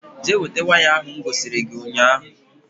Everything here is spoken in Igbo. Jee weta waya ahụ m gosiri gị ụnyaahụ